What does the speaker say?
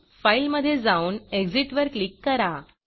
Fileफाइल मधे जाऊन Exitएग्ज़िट वर क्लिक करा